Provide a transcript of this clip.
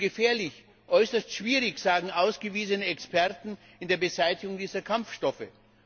Zu gefährlich, äußerst schwierig, sagen ausgewiesene Experten für die Beseitigung dieser Kampfstoffe.